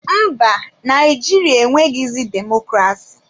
Mba, Naijiria enweghịzị demokrasi.